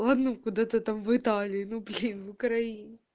ладно бы куда-то там в италии ну блин в украине